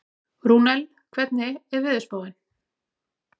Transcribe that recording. Rúnel, hvernig er veðurspáin?